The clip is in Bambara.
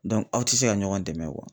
aw tɛ se ka ɲɔgɔn dɛmɛ